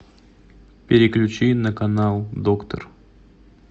переключи на канал доктор